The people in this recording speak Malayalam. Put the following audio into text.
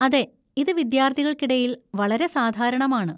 അതെ, ഇത് വിദ്യാർത്ഥികൾക്കിടയിൽ വളരെ സാധാരണമാണ്.